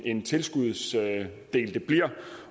en tilskudsdel det bliver